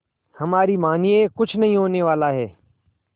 हमारी मानिए कुछ नहीं होने वाला है